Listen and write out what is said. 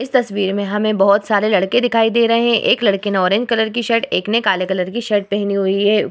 इस तस्वीर में हमें बोहोत सारे लड़के दिखाई दे रहे है। एक लड़के ने ऑरेंज कलर की शर्ट एक ने काले कलर की शर्ट पेहनी हुई है।